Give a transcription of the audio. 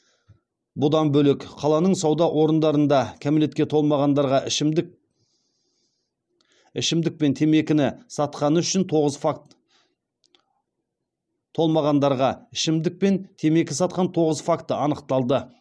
бұдан бөлек қаланың сауда орындарында кәмелетке толмағандарға ішімдік пен темекі сатқан тоғыз факті анықталды